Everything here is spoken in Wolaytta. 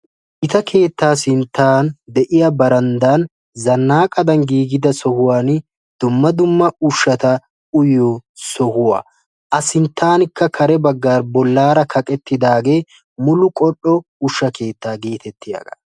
Gita keettaa sinttan de'iya baranddan zannaaqadan giigida sohuwan dumma dumma ushshata uyiyo sohuwa. A sinttaankka kare baggan bollaara kaqettidaagee Mulu qol''o ushsha keettaa geetettiyagaa.